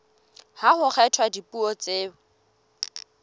ha ho kgethwa dipuo tseo